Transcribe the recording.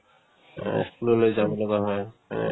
অহ্ school লৈ যাব লগা হয় এনেকে